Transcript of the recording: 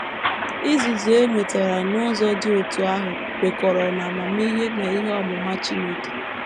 Izuzu e nwetara n’ụzọ dị otú ahụ kwekọrọ n’amamihe na ihe ọmụma Chineke.